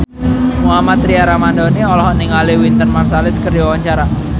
Mohammad Tria Ramadhani olohok ningali Wynton Marsalis keur diwawancara